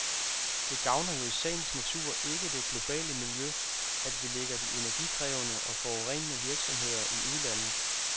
Det gavner jo i sagens natur ikke det globale miljø, at vi lægger de energikrævende og forurenende virksomheder i udlandet.